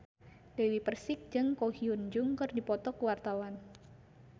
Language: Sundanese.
Dewi Persik jeung Ko Hyun Jung keur dipoto ku wartawan